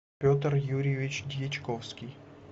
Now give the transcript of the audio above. петр юрьевич дьячковский